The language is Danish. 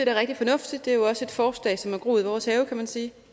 er rigtig fornuftigt det er jo også et forslag som har groet i vores have kan man sige